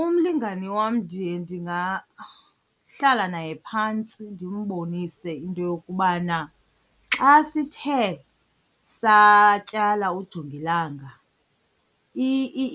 Umlingane wam ndiye ndingahlala naye phantsi ndimbonise into yokubana xa sithe satyala ujongilanga